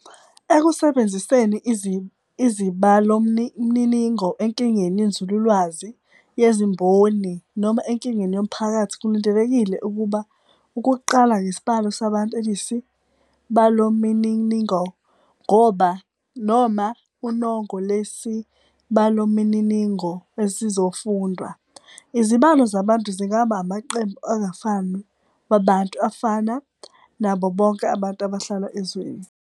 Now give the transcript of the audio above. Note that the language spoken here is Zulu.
Ekusebenziseni izibalomniningo enkingeni yenzululwazi, yezimboni, noma enkingeni yomphakathi, kulindelekile ukuba ukuqala ngesibalo sabantu eliyisibalomininingo noma unongo lwesibalomininingo esizofundwa. Izibalo zabantu zingaba amaqembu angafani wabantu afana "nabo bonke abantu abahlala ezweni".